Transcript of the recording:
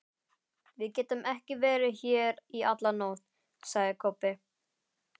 Við getum ekki verið hér í alla nótt, sagði Kobbi.